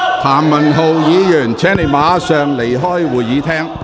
譚文豪議員，請你立即離開會議廳。